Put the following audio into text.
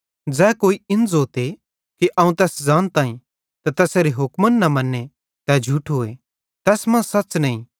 ज़ै कोई इन ज़ोते कि अवं तैस ज़ानताईं ते तैसेरे हुक्मन न मन्ने तै झूठोए ते तैस मां सच़ नईं